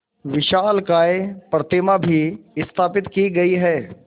विशालकाय प्रतिमा भी स्थापित की गई है